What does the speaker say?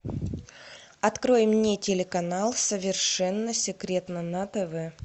открой мне телеканал совершенно секретно на тв